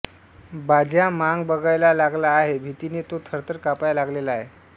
बाज्या मांग बघायला लागला आहे भितीने तो थरथर कापाया लागलेला आहे